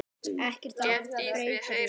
Ekkert app breytir því.